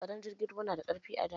Tsaron jirgin ruwa na da ƙarfi a da.